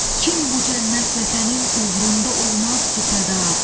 Kim bu cənnət vətənin uğrunda olmaz ki fəda?